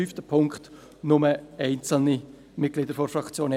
für den Punkt 5 sind nur einzelne Mitglieder der EVP-Fraktion.